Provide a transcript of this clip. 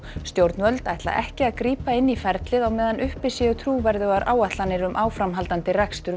stjórnvöld ætla ekki að grípa inn í ferlið á meðan uppi séu trúverðugar áætlanir um áframhaldandi rekstur